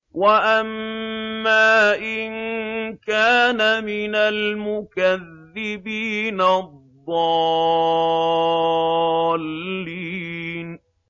وَأَمَّا إِن كَانَ مِنَ الْمُكَذِّبِينَ الضَّالِّينَ